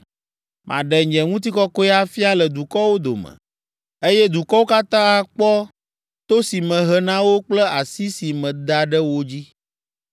“Maɖe nye ŋutikɔkɔe afia le dukɔwo dome, eye dukɔwo katã akpɔ to si mehe na wo kple asi si meda ɖe wo dzi.